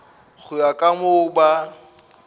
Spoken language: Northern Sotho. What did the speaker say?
go ya ka moo ba